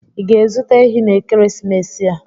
Ị ga-azụta ehi n'ekeresimesi a?